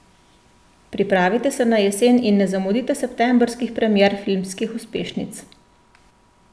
Pripravite se na jesen in ne zamudite septembrskih premier filmskih uspešnic!